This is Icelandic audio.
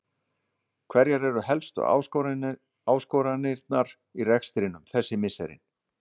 Hverjar eru helstu áskoranirnar í rekstrinum þessi misserin?